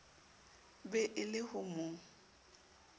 be e le ho mo